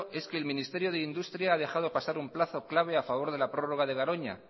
es que el ministerio de industria ha dejado pasar un plazo clave a favor de la prórroga de garoña